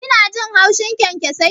Kina jin haushin kyankyasai?